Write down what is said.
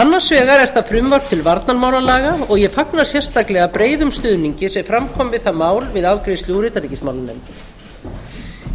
annars vegar eru það frumvarp til varnarmálalaga og ég fagna sérstaklega breiðum stuðningi sem fram kom við það mál við afgreiðslu úr utanríkismálanefnd